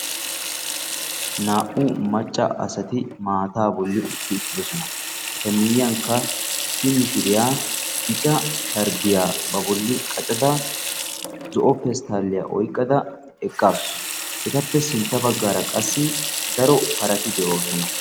Naa"u macca asati maataa bolli utti uttidosona. Eta miyyiyankka issi mishiriya bica sharbbiya ba bolli qacada zo'o pesttaalliya oyqqada eqqaasu. Etappe sintta baggaara qassi daro parati de'oosona.